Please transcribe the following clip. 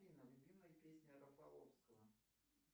афина любимая песня рафаловского